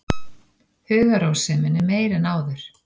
Hugarrósemin er meiri en áður.